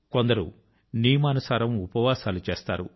కొందరు నియమానుసారం ఉపవాసాలు చేస్తారు